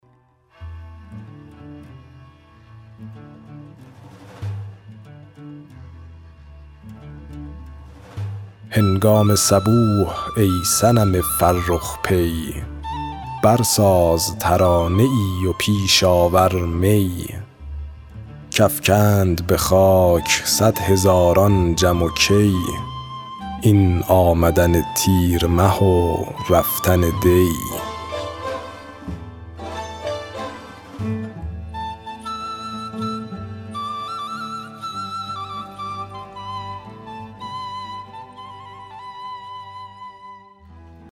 هنگام صبوح ای صنم فرخ پی برساز ترانه ای و پیش آور می کافکند به خاک صدهزاران جم و کی این آمدن تیر مه و رفتن دی